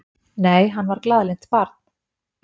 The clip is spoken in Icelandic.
Nei, hann var glaðlynt barn.